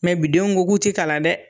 Mɛ bi denw k'u ti kalan dɛ